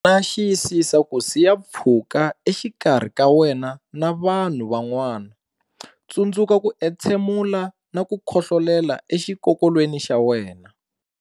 Xiyisisa ku siya pfhuka exikarhi ka wena na vanhu van'wana Tsundzuka ku entshemula na ku khohlolela exikokolweni xa wena.